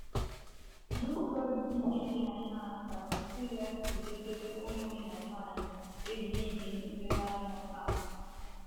N’ụzọ ndị dị aṅaa ka Prisila si debere ụmụnna nwanyị ezi ihe nlereanya taa?